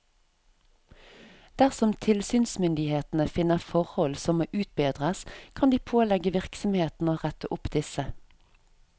Dersom tilsynsmyndighetene finner forhold som må utbedres, kan de pålegge virksomheten å rette opp disse.